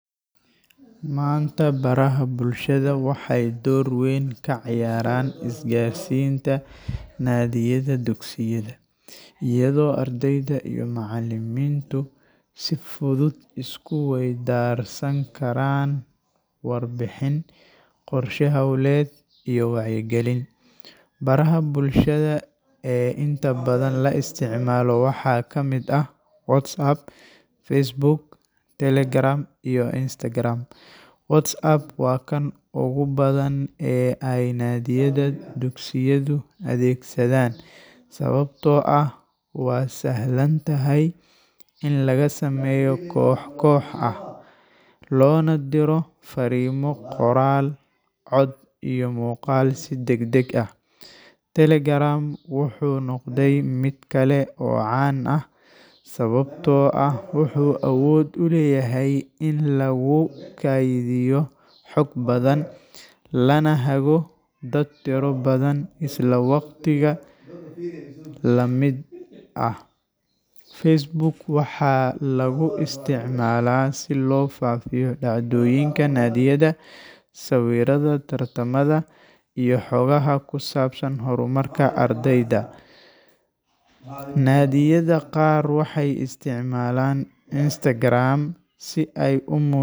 Maanta, baraha bulshada waxay door weyn ka ciyaaraan isgaarsiinta naadiyada dugsiyada, iyadoo ardayda iyo macallimiintu si fudud isku weydaarsan karaan warbixin, qorshe hawleed, iyo wacyigelin. Baraha bulshada ee inta badan la isticmaalo waxaa ka mid ah WhatsApp, Facebook, Telegram, iyo Instagram. WhatsApp waa kan ugu badan ee ay naadiyada dugsiyadu adeegsadaan sababtoo ah waa sahlan tahay in laga sameeyo koox koox ah, loona diro farriimo qoraal, cod iyo muuqaal si degdeg ah. Telegram wuxuu noqday mid kale oo caan ah sababtoo ah wuxuu awood u leeyahay in lagu kaydiyo xog badan, lana hago dad tiro badan isla waqtiga la mid ah. Facebook waxaa lagu isticmaalaa si loo faafiyo dhacdooyinka naadiyada, sawirrada tartamada, iyo xogaha ku saabsan horumarka ardayda. Naadiyada qaar waxay isticmaalaan Instagram si ay u mu.